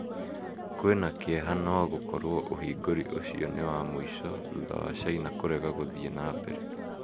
kwĩna kĩeha nogũkorwo ũhingũri ucio niwa mũico thutha wa caina kũrega gũthii nambere